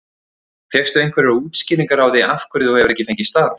Fékkstu einhverjar útskýringar á því af hverju þú hefur ekki fengið starf?